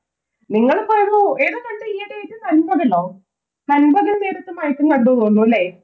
നിങ്ങളിപ്പോ ഏതോ, ഏതാ കണ്ടേ ഈയിടെ ആയിട്ട് നൻപകലോ, നൻപകൽ നേരത്ത് മയക്കം കണ്ടുന്നു തോന്നുന്നുലെ